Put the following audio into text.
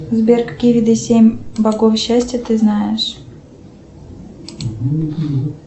сбер какие виды семь богов счастья ты знаешь